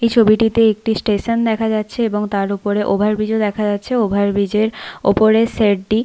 এই ছবিটিতে একটি স্টেশন দেখা যাচ্ছে এবং তার ওপরে একটি ওভার ব্রিজ ও দেখা যাচ্ছে ওভার ব্রিজ এর ওপরের শেড টি।